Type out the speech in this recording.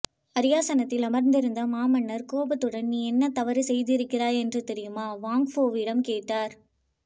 அரியாசனத்திலிருந்த மாமன்னர் கோபத்துடன் நீ என்ன தவறு செய்திருக்கிறாய் என்று தெரியுமா வாங்ஃபோவிடம் கேட்டார்